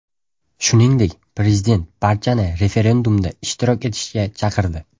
Shuningdek, prezident barchani referendumda ishtirok etishga chaqirdi.